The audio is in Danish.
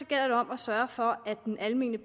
gælder det om at sørge for at den almene